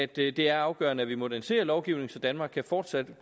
det det er afgørende at vi moderniserer lovgivningen så danmark fortsat